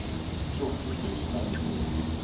fjorten tusen og nittini